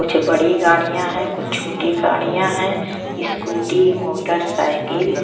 कुछ बड़ी गाड़िया है कुछ छोटी गाड़िया है स्कूटी मोटरसाइकल --